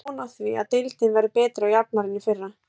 Ég á von á því að deildin verði betri og jafnari en í fyrra.